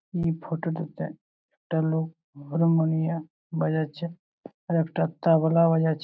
ই photo টিতে একটা লোক হারমোনিয়াম বাজাচ্ছে আর একটা তাবলা বাজাচ্ছে।